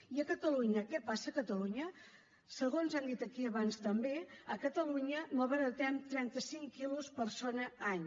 i a catalunya què passa a catalunya segons han dit aquí abans també a catalunya malbaratem trentacinc quilos persona any